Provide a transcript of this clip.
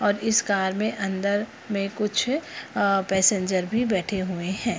और इस कार में अंदर में कुछ अअ पैसेंजर्स भी बैठे हुए हैं।